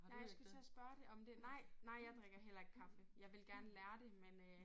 Nej jeg skulle til at spørge det om det nej nej jeg drikker heller ikke kaffe. Jeg ville gerne lære det men øh